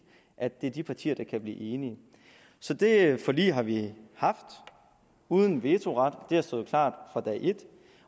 at det er de partier der kan blive enige så det forlig har vi haft uden vetoret det har stået klart fra dag et